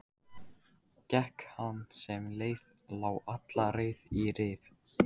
Gekk hann sem leið lá alla leið í Rif.